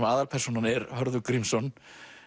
aðalpersónan er Hörður Grímsson